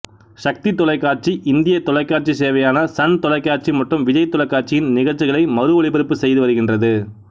சக்தி தொலைக்காட்சி இந்தியத் தொலைக்காட்சிச் சேவையான சன் தொலைக்காட்சி மற்றும் விஜய் தொலைக்காட்சியின் நிகழ்ச்சிகளை மறு ஒளிபரப்புச் செய்துவருகின்றது